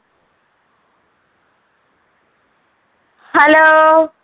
hello